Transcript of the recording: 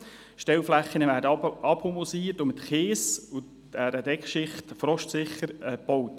Die Stellflächen werden abhumusiert und mit einer Kies- und Deckschicht frostsicher gebaut.